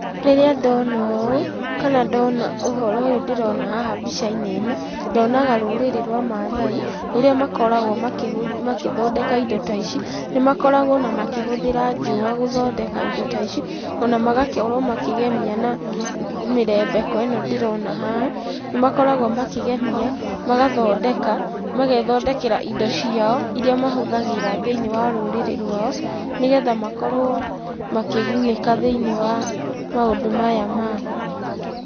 Rĩrĩa ndona ũũ kana ndona ũhoro ũyũ ndĩrona haha mbica-inĩ ĩno, nyonaga rũrĩrĩ rwa maathai, rũrĩa makoragwo magĩthondeka indo ta ici, nĩmakoragwo ona makĩhũthĩra njũa gũthondeka indo ta ici, ona magakorwo makĩgemia na mĩrembeko ĩno ndĩrona haha, nĩmakoragwo makĩgemia, magathondeka, magethondekera indo ciao iria mahũthagĩra thĩinĩ wa rũrĩrĩ rwao, nĩgetha makorwo makĩgunĩka thĩinĩ wa maũndũ maya maao.